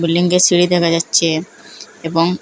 বিল্ডিংয়ের সিঁড়ি দেখা যাচ্ছে এবং--